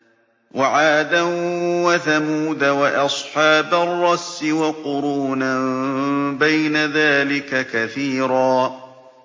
وَعَادًا وَثَمُودَ وَأَصْحَابَ الرَّسِّ وَقُرُونًا بَيْنَ ذَٰلِكَ كَثِيرًا